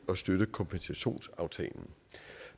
at støtte kompensationsaftalen